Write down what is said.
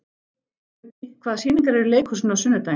Uggi, hvaða sýningar eru í leikhúsinu á sunnudaginn?